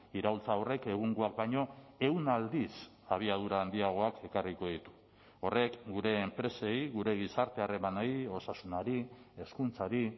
iraultza horrek egungoak baino ehun aldiz abiadura handiagoak ekarriko ditu horrek gure enpresei gure gizarte harremanei osasunari hezkuntzari